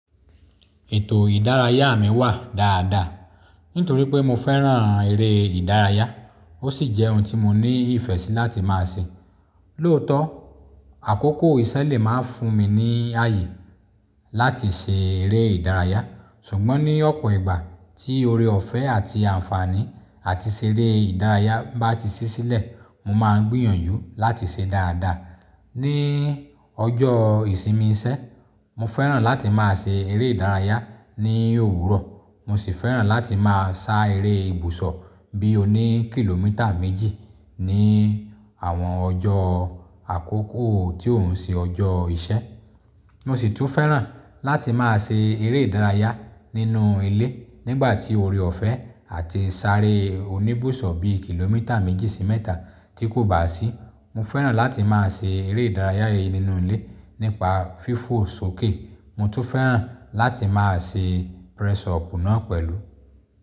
Ètò ìdárayá mi wà dáadáa, nítorí pé mo fẹ́ràn eré ìdárayá, ó sì jẹ́ ohun tí mo ní ìfẹ́ sí láti máa ṣe. Lóòótọ́ àkókò iṣẹ́ lè má fún mi ní ààyè láti ṣe eré ìdárayá ṣùgbọ́n ní ọ̀pọ̀ ìgbà tí oore-ọ̀fẹ́ àti àǹfààní àti ṣe eré ìdárayá bá ti sí sílẹ̀, mo máa ń gbìyànjú láti ṣe dáadáa. Ní ọjọ́ ìsinmi iṣẹ́, mo fẹ́ràn láti máa ṣe eré ìdárayá ní òwúrọ̀, mo sì fẹ́ràn láti máa sá eré ibùsọ̀ bí oní kìlómítà méjì ní àwọn ọjọ́ àkókò tí ń ṣe ọjọ́ iṣẹ́. Mo sì tún fẹ́ràn láti máa ṣe eré ìdárayá nínú ilé nígbà tí oore-ọ̀fẹ́ àti sáré oní ìbùsọ̀ bí kìlómítà méjì sí mẹ́ta tí kò bá sí, mo fẹ́ràn láti máa ṣe eré-ìdárayá nínú ilé nípa fífò sókè. Mo tún fẹ́ràn láti máa ṣe press up náà pẹ̀lú.